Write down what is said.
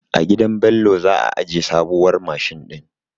A gidan Bello za a aje sabuwar mashin din.